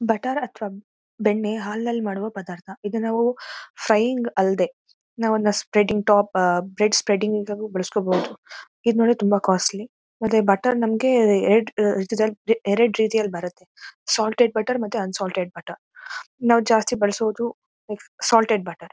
Butter ಅಥವಾ ಬೆಣ್ಣೆ ಹಾಲ್ನಲ್ಲಿ ಮಾಡುವ ಪದಾರ್ಥ ಇದು ನಾವು ಫ್ರಯಿಂಗ್ ಅಲ್ದೆ ನಾವು ಸ್ಪ್ರೆಡ್ಡಿಂಗ್ ಟಾಪ್ ಬ್ರೆಡ್ ಸ್ಪ್ರೆಡ್ಡಿಂಗ್ ಗು ಬಳಸ್ಕೊಳ್ಬಹುದು ಇದು ನೋಡಿದ್ರೆ ತುಂಬಾ ಕಾಸ್ಟ್ಲಿ ಮತ್ತೆ ಬಟರ್ ನಮಗೆ ಎರಡು ರೀತಿಯಲ್ಲಿ ಬರುತ್ತೆ ಸಾಲ್ಟ್ ಎಡ್ ಬಟರ್ ಮತ್ತೆ ಅನ್ ಸಾಲ್ಟ್ದ್ ಬಟರ್ ಆಹ್ಹ್ ನಾವ್ ಜಾಸ್ತಿ ಬಳಸೋದು ಸಾಲ್ಟ್ದ್ ಬಟರ್ .